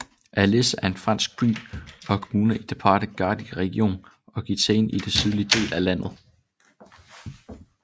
Alés er en fransk by og kommune i departementet Gard i regionen Occitanie i den sydlige del af landet